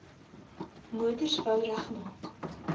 motors wou regmaak